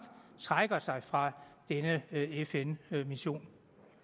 trækker sig fra denne fn mission